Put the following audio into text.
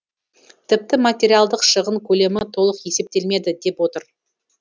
тіпті материалдық шығын көлемі толық есептелмеді деп отыр